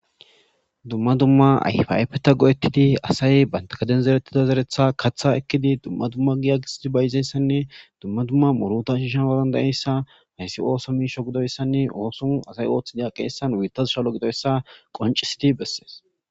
Dumma dumma ayfapeta go'ettidi asay bantakaden zerettida zeretha kaththa ekkidi dumma dumma giya gisidi bayizeyssanne dumma dumma moruta shiishanwarandayeyssa hayssi ooso miisho gidoyssanne oosun asay ooththidia qeessan wiittazu shalo gidoyssa qoncisiti bessees.